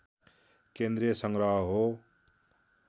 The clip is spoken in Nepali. केन्द्रीय सङ्ग्रह हो